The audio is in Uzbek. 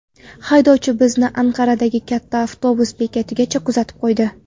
Haydovchi bizni Anqaradagi katta avtobus bekatigacha kuzatib qo‘ydi.